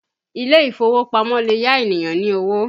Ile ìfowópamọ́ lè yá ènìyàn ní owó